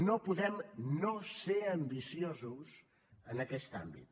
no podem no ser ambiciosos en aquest àmbit